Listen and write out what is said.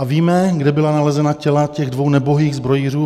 A víme, kde byla nalezena těla těch dvou nebohých zbrojířů?